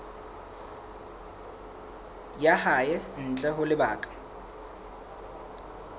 ya hae ntle ho lebaka